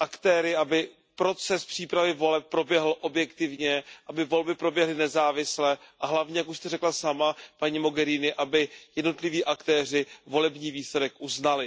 aktéry, aby proces přípravy voleb proběhl objektivně, aby volby proběhly nezávisle a hlavně, jak už jste řekla sama, paní Mogheriniová, aby jednotliví aktéři volební výsledek uznali.